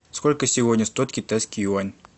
сколько сегодня стоит китайский юань